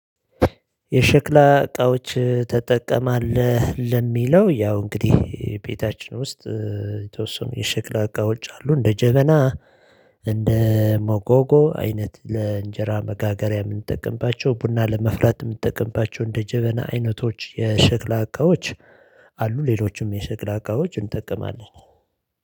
የሸክላ እቃዎች ትጠቀማለህ? ለሚለው ያው እንግዲህ ቤታችን ውስጥ የተወሰኑ የሸክላ እቃ ውጭ አሉ እንደ ጀበና እንደ ሞጎጎ አይነት ለእንጀራ መጋገሪያ የምንጠቀምባቸው ቡና ለማፍላት የምንጠቀምባቸው እንደ ጀበና አይነቶች የሽክላ እቃዎች። አሉ ሌሎችም የሸክላ ዕቃወቆች እንጠቀማለን